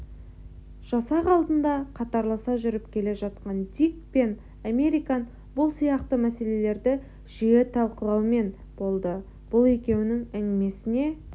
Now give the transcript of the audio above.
жасақ алдында қатарласа жүріп келе жатқан дик пен американ бұл сияқты мәселелерді жиі талқылаумен болды бұл екеуінің әңгімесіне